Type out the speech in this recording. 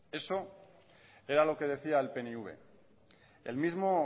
eso era lo que decía el pnv el mismo